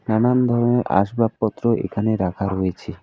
নানান ধরনের আসবাস পত্র এখানে রাখা রয়েছে।